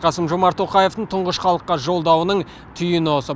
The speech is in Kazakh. қасым жомарт тоқаевтың тұңғыш халыққа жолдауының түйіні осы